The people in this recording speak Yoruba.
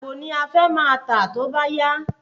Àgbò ni à fẹ máa tà tóbá yá